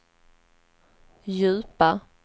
djupa